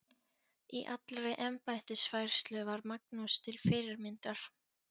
Í allri embættisfærslu var Magnús til fyrirmyndar.